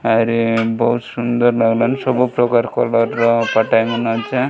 ଆରେ ବହୁତ ସୁନ୍ଦର ଲାଗିଲା ସବୁ ପ୍ରକାର କଲର୍ ।